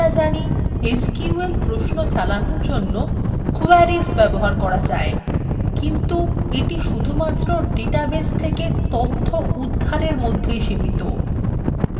আমরা জানি এসকিউএল প্রশ্ন চালানোর জন্য queries চালানো যায় কিন্তু এটি কেবল ডাটাবেস থেকে তথ্য উদ্ধারের মধ্যেই সীমিত